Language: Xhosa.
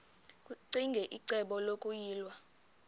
ccinge icebo lokuyilwa